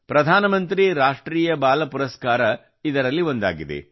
ಪ್ರಧಾನಮಂತ್ರಿ ರಾಷ್ಟ್ರೀಯ ಬಾಲ ಪುರಸ್ಕಾರ ಇದರಲ್ಲೊಂದಾಗಿದೆ